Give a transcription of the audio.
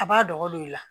A b'a dogo don i la